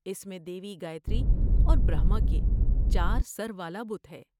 اس میں دیوی گایتری اور برہما کے چار سر والا بت ہے۔